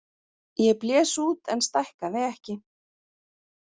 Ég blés út en stækkaði ekki.